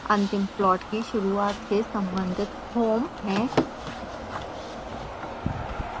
अंतिम प्लॉट की शुरूआत से संबंधित home है